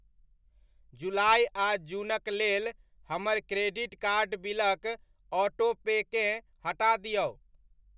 जुलाइ आ जूनक लेल हमर क्रेडिट कार्ड बिलक ऑटोपेकेँ हटा दिऔ।